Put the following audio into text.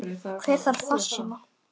Hver þarf farsíma?